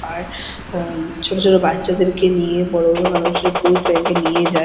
আর আহ ছোটো ছোটো বাচ্চাদেরকে নিয়ে বড় বড় মানুষরা পোড ব্যাংক -এ নিয়ে যায় ।